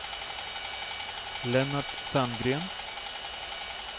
Lennart Sandgren